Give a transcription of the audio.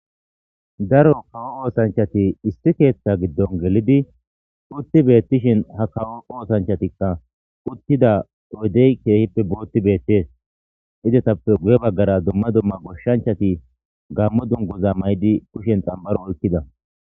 Daro kawo oossencchathi issi keeththaa giddon gelidi uththi beeththishen ha nam7u oosanchchathikka uththida oydee keehippe booxxi beeththees; izethappe guyye baggaraa dumma dumma goshshanchchathi gaammo dungguzza maayidi kushen xam7ora oykkida.